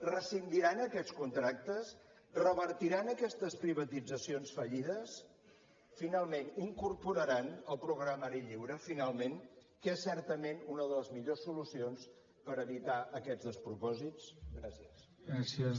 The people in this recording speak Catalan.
rescindiran aquests contractes revertiran aquestes privatitzacions fallides finalment incorporant el programari lliure finalment que és certament una de les millors solucions per evitar aquests despropòsits gràcies